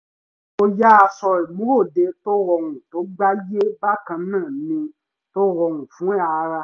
mo yan aṣọ ìmúròde tó rọrùn tó gbáàyè bákan náà ni tó rọrùn fún ara